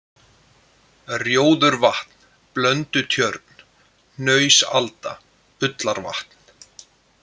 Rjóðurvatn, Blöndutjörn, Hnausalda, Ullarvatn